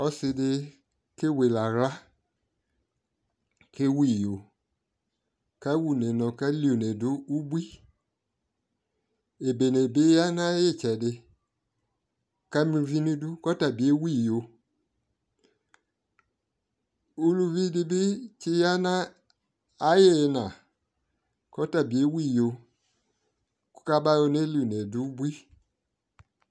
ɔsi di kewele ala ko ewu iyo kawa une mo akeli une do ubui ebene bi ya no ayetsedi kama uvi no idu ko ɔtabi ewu iyo uluvi de bi tse ya no aye ina ko ɔtabi ewu iyo ko kaba yɔ neli une do ubui